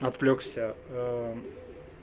отвлёкся